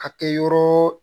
A kɛ yɔrɔ